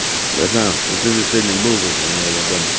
братан ну ты же сегодня был возле моего дома